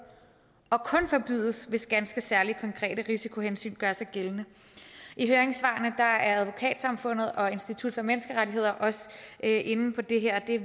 og kun forbydes hvis ganske særlige konkrete risikohensyn gør sig gældende i høringssvarene er advokatsamfundet og institut for menneskerettigheder også inde på det her og det